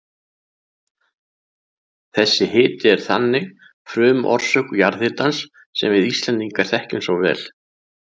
Þessi hiti er þannig frumorsök jarðhitans sem við Íslendingar þekkjum svo vel.